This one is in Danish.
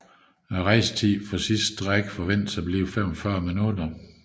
Rejsetiden for sidstnævnte strækning forventes at blive 45 minutter